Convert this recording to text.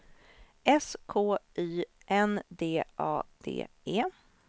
S K Y N D A D E